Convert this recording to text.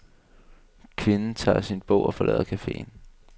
Kvinden tager sin bog og forlader cafeen.